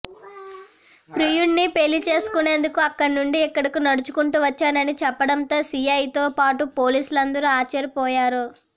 ప్రియుడిని పెళ్లి చేసుకునేందుకు అక్కడి నుంచి ఇక్కడకు నడుచుకుంటూ వచ్చానని చెప్పడంతో సీఐతో పాటు పోలీసులందరూ ఆశ్చర్యపోయారు